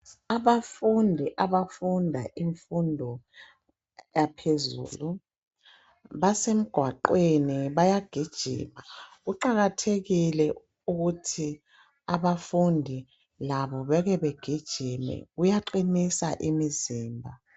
Abafundi abafunda imfundo yaphezulu basemgwaqweni bayagijima kuqakathekile ukuthi abafundi labo beke begijime kuyaqinisa imizimba.